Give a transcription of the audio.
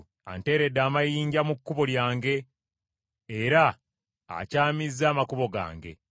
Anteeredde amayinja mu kkubo lyange era akyamizza amakubo gange.